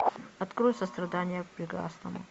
открой сострадание к прекрасному